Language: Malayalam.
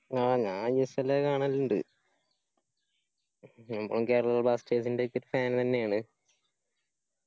ആ ഞാൻ ISL കാണലിണ്ട് നമ്മളും Kerala blasters ന്റെയൊക്കെ fan തന്നെയാണ്